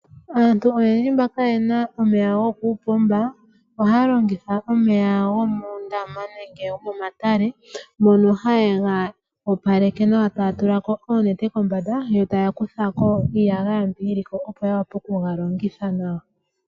Aantu oyendji mba kaayena omeya gokuupomba ohaya longitha omeya gomuundama nenge gomomatale. Mono haye ga opaleke nawa taya tula ko oonete kombanda yo taya kutha ko iiyagaya mbi yili ko opo ya vule okuga longitha nawa.